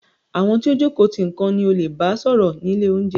Àwọn tí o jókòó tì nìkan ni o leè bá sọ̀rọ̀ ni ilé oúnjẹ.